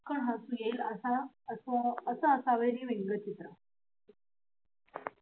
खूप कन हसू येईल असं असावं व्यंगचित्र.